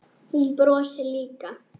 Hún brosir líka.